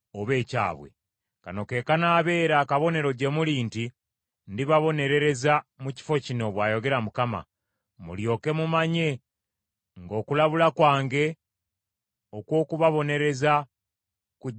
“ ‘Kano ke kanaabeera akabonero gye muli nti ndibabonerereza mu kifo kino,’ bw’ayogera Mukama , ‘Mulyoke mumanye nga okulabula kwange okw’okubabonereza kujja kutuukirira.’